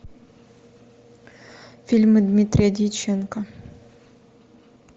фильмы дмитрия дьяченко